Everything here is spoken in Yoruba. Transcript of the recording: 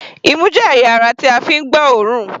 Imú jẹ́ ẹ̀yà ara tí a fi ń gbọ́ òórùn.